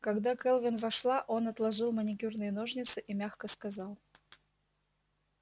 когда кэлвин вошла он отложил маникюрные ножницы и мягко сказал